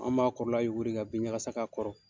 An b'a kɔrɔ la yukuri ka bin ɲakasa k'a kɔrɔ.